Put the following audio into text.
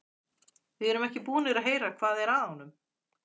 Við erum ekki búnir að heyra hvað er að honum.